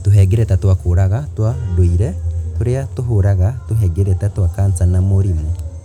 Tũhengereta twa kũũraga twa ndũire tũria tũhũraga tũhengereta twa kanca na mĩrimũ.